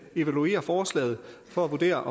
evaluere forslaget for at vurdere